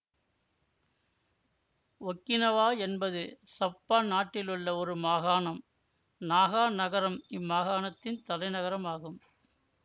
Okinawa என்பது சப்பான் நாட்டிலுள்ள ஒரு மாகாணம் நாகா நகரம் இம்மாகாணத்தின் தலைநகரம் ஆகும்